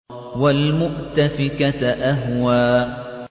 وَالْمُؤْتَفِكَةَ أَهْوَىٰ